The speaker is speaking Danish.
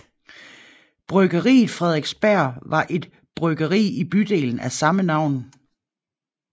Bryggeriet Frederiksberg var et bryggeri i bydelen af samme navn